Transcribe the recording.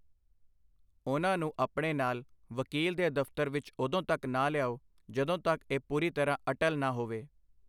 ਉਨ੍ਹਾਂ ਨੂੰ ਆਪਣੇ ਨਾਲ ਵਕੀਲ ਦੇ ਦਫ਼ਤਰ ਵਿੱਚ ਉਦੋਂ ਤੱਕ ਨਾ ਲਿਆਓ ਜਦੋਂ ਤੱਕ ਇਹ ਪੂਰੀ ਤਰ੍ਹਾਂ ਅਟਲ ਨਾ ਹੋਵੇ।